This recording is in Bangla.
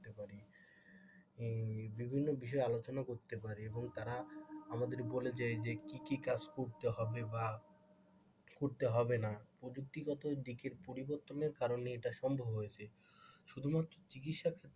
বিভিন্ন বিষয়ে আলোচনা করতে পারি এবং তারা আমাদেরকে বলে যে আমাদেরকে কি কি কাজ করতে হবে বা করতে হবে না প্রযুক্তিগত দিকের পরিবর্তনের কারণে এটা সম্ভব হয়েছে শুধুমাত্র চিকিৎসা ক্ষেত্রে,